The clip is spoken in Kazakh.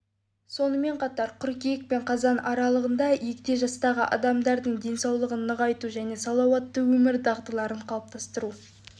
сонымен қатар қыркүйек пен қазан аралығында егде жастағы адамдардың денсаулығын нығайту және салауатты өмір дағдыларын қалыптастыру